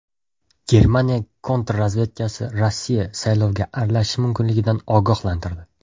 Germaniya kontrrazvedkasi Rossiya saylovga aralashishi mumkinligidan ogohlantirdi.